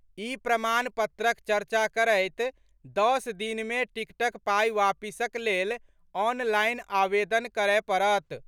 ई प्रमाण पत्रक चर्चा करैत दस दिन मे टिकटक पाई वापसिक लेल ऑनलाइन आवेदन करय पड़त।